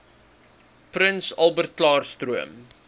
prins albertklaarstroom